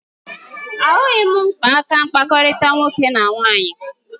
Ahụghị m mkpa maka mkpakọrịta nwoke na nwaanyị